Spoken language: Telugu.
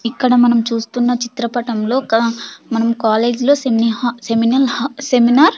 ఇక్కడ మనం చూస్తున్న చిత్రపటంలో ఒక మనం కాలేజ్ లో సినీహా సెమినల్ సెమినర్ .